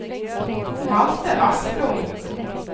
Malte Asplund